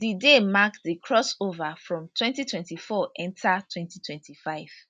di day mark di crossover from twenty twenty four enta twenty twenty five